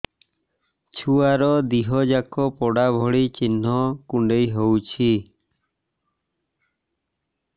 ଛୁଆର ଦିହ ଯାକ ପୋଡା ଭଳି ଚି଼ହ୍ନ କୁଣ୍ଡେଇ ହଉଛି